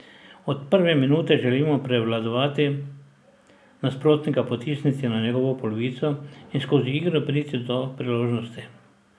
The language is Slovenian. Od prve minute želimo prevladovati, nasprotnika potisniti na njegovo polovico in skozi igro priti do priložnosti.